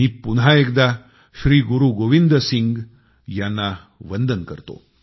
मी पुन्हा एकदा श्री गुरु गोबिंद सिंग यांना वंदन करतो